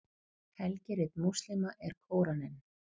helgirit múslíma er kóraninn